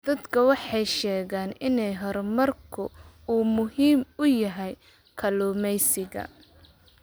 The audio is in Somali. Dadku waxay sheegaan in horumarku uu muhiim u yahay kalluumeysiga.